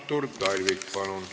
Artur Talvik, palun!